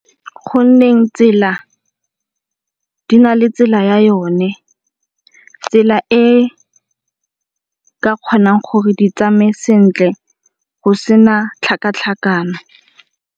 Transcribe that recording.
Go nne tsela di na le tsela ya yone, tsela e ka kgonang gore di tsamaye sentle go se na tlhakatlhakano.